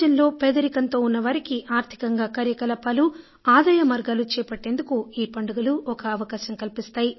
సమాజంలో పేదరికంతో ఉన్నవారికి ఆర్థికంగా కార్యకలాపాలు ఆదాయ మార్గాలు చేపట్టేందుకు ఈ పండుగలు ఒక అవకాశం కల్పిస్తాయి